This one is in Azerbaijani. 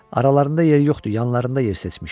Aralarında yeri yoxdur, yanlarında yer seçmişəm.